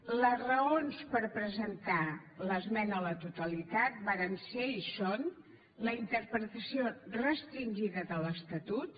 les raons per presentar l’esmena a la totalitat varen ser i són la interpretació restringida de l’estatut